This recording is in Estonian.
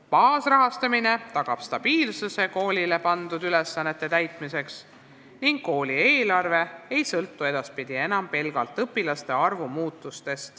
Baasrahastamine tagab stabiilsuse koolile pandud ülesannete täitmisel ning kooli eelarve ei sõltu edaspidi enam pelgalt õpilaste arvust.